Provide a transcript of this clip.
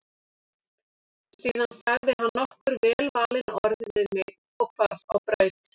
Síðan sagði hann nokkur velvalin orð við mig og hvarf á braut.